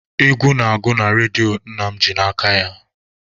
Egwu na-agụ na redio nna m ji n'aka ya.